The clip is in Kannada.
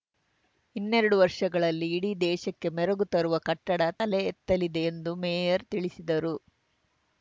ಇನ್ನೆರಡು ವರ್ಷಗಳಲ್ಲಿ ಇಡೀ ದೇಶಕ್ಕೆ ಮೆರಗು ತರುವ ಕಟ್ಟಡ ತಲೆ ಎತ್ತಲಿದೆ ಎಂದು ಮೇಯರ್‌ ತಿಳಿಸಿದರು